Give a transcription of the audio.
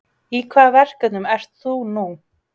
Í hvaða verkefnum ert þú nú?